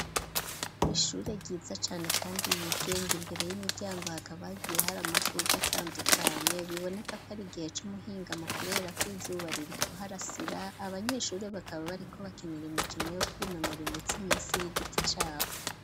Ishure ryiza cane kandi yigenga imbere y'imiryango hakaba hagiye hari amashuga atandukanye biboneka ko ari igihe c'umuhingamo kubera ko izuba riri kuharasira abanyeshure bakaba bariko bakinira imikino yo kwinonora imitsi munsi y'igiti caho.